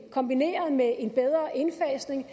kombineret med en bedre indfasning